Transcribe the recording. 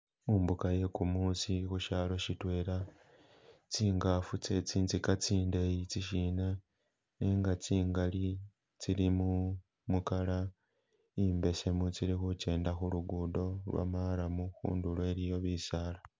Mumbuka iye kumuusi khushalo shitwela, tsingaafu tse tsintsika tsindeeyi itsi sina nenga tsingali tsili mu mu color imbesemu tsili khukenda khulugudo lwo marrum khundulo iliyo bisaala.